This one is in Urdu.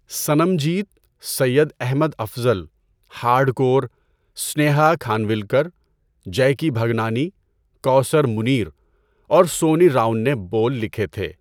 صنم جیت، سید احمد افضل، ہارڈ کور، سنیہا کھنوالکر، جیکی بھگنانی، کوثر منیر اور سونی راون نے بول لکھے تھے۔